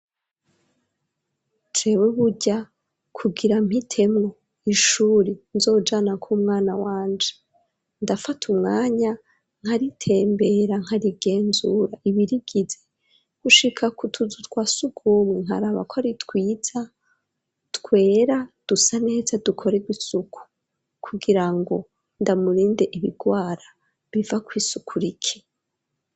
Tewe burya kugira mpitemwo ishuri nzojanako umwana wanje ndafate umwanya nkaritembera nkarigenzura ibirigize gushika kutuzu twa sugumwe nkaraba ko aritwiza twera dusa neza dukorerwa suku kugira ngo ndamurinde ibirwara biva kwisukura iki.